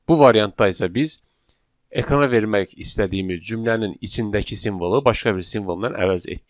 Bu variantda isə biz ekrana vermək istədiyimiz cümlənin içindəki simvolu başqa bir simvolnan əvəz etdik.